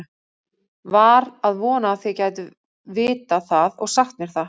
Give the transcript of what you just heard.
Var að vona þið gætuð vitað það og sagt mér það.